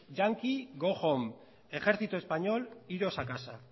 yankee go home ejército español iros a casa